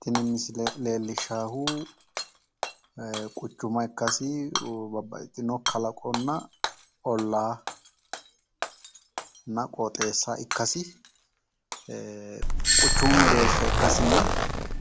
Tini leellishaahu quchuma ikkasi babbaxitino kalaqonna ollaanna qooxeessa ikkasi quchumu mereersha ikkasinna